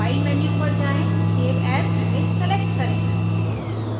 file menu पर जाएँ save as image select करें